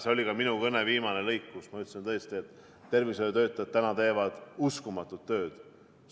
See oli ka minu kõne viimane lõik, kus ma ütlesin tõesti, et tervishoiutöötajad teevad uskumatut tööd.